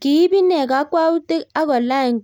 Kiip inee kakwautik agolany